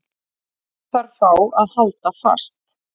Sá þarf þá að halda fast.